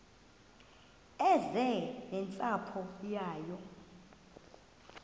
eze nentsapho yayo